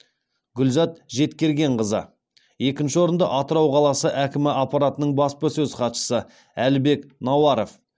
гүлзат жеткергенқызы екінші орынды атырау қаласы әкімі аппаратының баспасөз хатшысы әлібек науаров